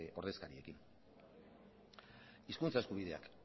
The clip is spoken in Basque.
ordezkariekin hizkuntza eskubideak